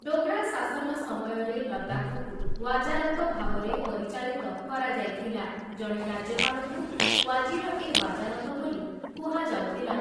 ଡୋଗ୍ରା ଶାସନ ସମୟରେ ଲଦାଖକୁ ୱାଜାରତ ଭାବରେ ପରିଚାଳିତ କରାଯାଇଥିଲା, ଜଣେ ରାଜ୍ୟପାଳଙ୍କୁ ୱାଜିର ଏ ୱାଜାରତ ବୋଲି କୁହାଯାଉଥିଲା ।